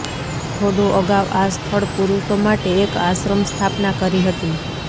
થોડો અગાઉ આ સ્થળ પુરુષો માટે એક આશ્રમ સ્થાપના કરી હતી